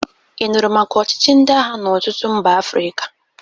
Ị nụrụ maka ọchịchị ndị agha n'ọtụtụ mba Afrịka?